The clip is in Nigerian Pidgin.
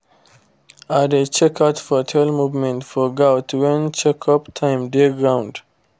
i dey check out for tail movement for goat when check up time dey ground